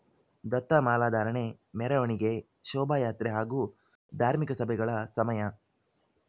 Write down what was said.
ದತ್ತಮಾಲಾಧಾರಣೆ ಮೆರವಣಿಗೆ ಶೋಭಾಯಾತ್ರೆ ಹಾಗೂ ಧಾರ್ಮಿಕ ಸಭೆಗಳ ಸಮಯ